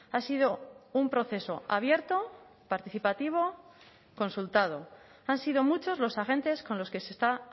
ha sido un proceso abierto participativo consultado han sido muchos los agentes con los que se está